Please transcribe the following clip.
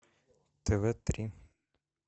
тв три